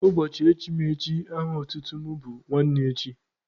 Ụbọchị echimechi aha otutu mụ bụ nwanne echi.